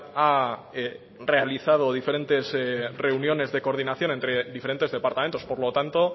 ha realizado diferentes reuniones de coordinación entre diferentes departamentos por lo tanto